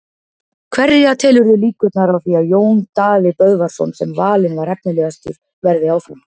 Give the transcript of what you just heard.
Hverja telurðu líkurnar á því að Jón Daði Böðvarsson sem valinn var efnilegastur verði áfram?